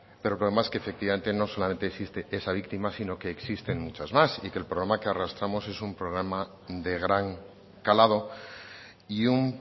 pero el problema es que efectivamente no solamente existe esa víctima sino que existen muchas más y que el problema que arrastramos es un programa de gran calado y un